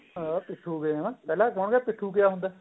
ਹਾਂ ਪੀਠੁ game ਪਹਿਲਾਂ ਕਹੋਗੇ ਪਿਠੁ ਕਿਆ ਹੁੰਦਾ